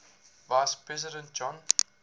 vice president john